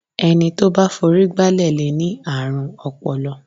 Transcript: Ẹni tó bá forí gbálẹ̀ lè ní àrùn ọpọlọ.